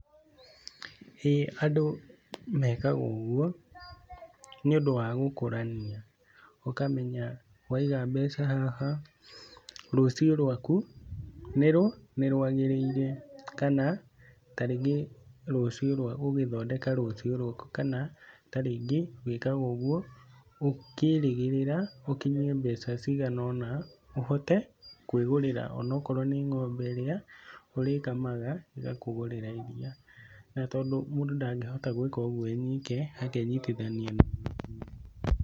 Ĩĩ andũ mekaga ũguo nĩ ũndũ wa gũkũrania ũkamenya waiga mbeca haha rũcio rwaku nĩ rwa rwagĩrĩire, kana tarĩngĩ ũgĩthondeka rũcio rwaku kana tarĩngĩ wĩkaga ũguo ũkĩrĩgĩrĩra ũkinyie mbeca ciganona ũhote kwĩgũrĩra onakorwo nĩ ng'ombe ĩrĩa ũrĩkamaga ĩgakũgũrĩra iria na tondũ mũndũ ndangĩhota gwĩka ũguo ewoike akanyititha.